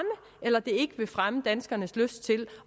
eller ikke vil fremme danskernes lyst til